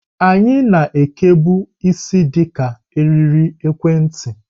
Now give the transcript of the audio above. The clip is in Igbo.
Anyị na ekebu isi di ka eriri ekwentị.